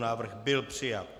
Návrh byl přijat.